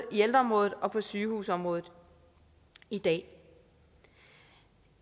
ældreområdet og på sygehusområdet i dag